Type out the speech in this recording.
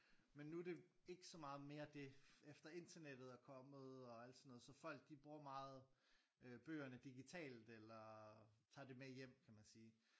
Men nu det ikke så meget mere det efter internettet er kommet og alt sådan noget så folk de bruger meget bøgerne digitalt eller tager det med hjem kan man sige